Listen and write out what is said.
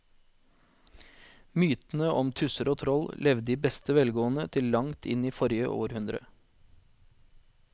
Mytene om tusser og troll levde i beste velgående til langt inn i forrige århundre.